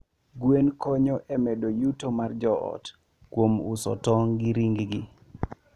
Gweno konyo e medo yuto mar joot kuom uso tong' gi ring gi.